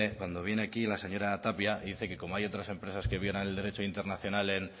cuando viene aquí la señora tapia y dice que como hay otras empresas que violan el derecho internacional en